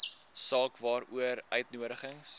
saak waaroor uitnodigings